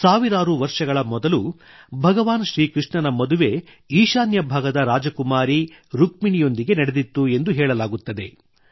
ಸಾವಿರಾರು ವರ್ಷಗಳ ಮೊದಲು ಭಗವಾನ್ ಶ್ರೀ ಕೃಷ್ಣನ ಮದುವೆ ಈಶಾನ್ಯ ಭಾಗದ ರಾಜಕುಮಾರಿ ರುಕ್ಮಿಣಿಯೊಂದಿಗೆ ನಡೆದಿತ್ತು ಎಂದು ಹೇಳಲಾಗುತ್ತದೆ